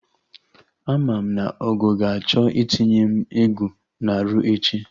Ama m na Ogo ga-achọ itinye m egwu na-arụ echi